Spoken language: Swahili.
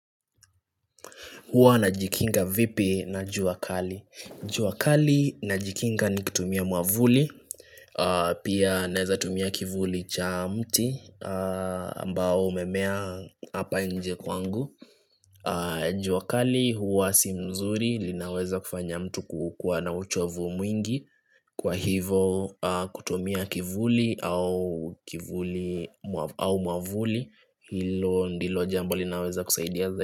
Huwa najikinga vipi na jua kali jua kali najikinga ni kutumia mwavuli Pia naeza tumia kivuli cha mti ambao umemea apa nje kwangu jua kali huwa si mzuri linaweza kufanya mtu kukua na uchovu mwingi Kwa hivo kutumia kivuli au kivuli au mwavuli Hilo ndilo jambo linaweza kusaidia za.